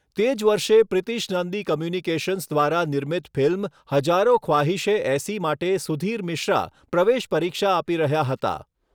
તે જ વર્ષે પ્રિતિશ નંદી કોમ્યુનિકેશન્સ દ્વારા નિર્મિત ફિલ્મ 'હજારો ખ્વાહીશે ઐસી' માટે સુધીર મિશ્રા પ્રવેશ પરીક્ષા આપી રહ્યા હતા.